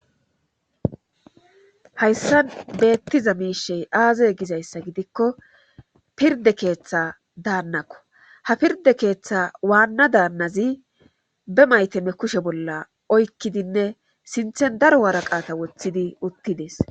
Hayssan beettiza miishey aazay gizayssa gidikko pirde keeththa daannakko ha pirde keeththa waanna daannazi be maytamme kushe bolla oykkidinne sinthen daro waaraqaata woththidi uttides.